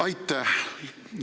Aitäh!